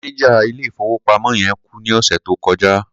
Mánẹjà ilé-ìfowópamọ́ yẹn kú ní ọ̀sẹ̀ tó kọjá.